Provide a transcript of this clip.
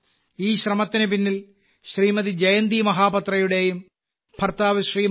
ഈ ശ്രമത്തിനു പിന്നിൽ ശ്രീമതി ജയന്തി മഹാപാത്രയുടെയും ഭർത്താവ് ശ്രീമാൻ